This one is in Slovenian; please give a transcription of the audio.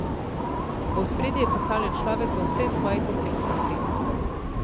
V ospredje je postavljen človek v vsej svoji kompleksnosti.